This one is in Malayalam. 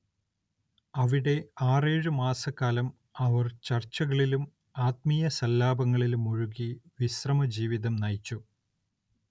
അവിടെ ആറേഴു മാസക്കാലം അവർ ചർച്ചകളിലും ആത്മീയസല്ലാപങ്ങളിലും മുഴുകി വിശ്രമജീവിതം നയിച്ചു.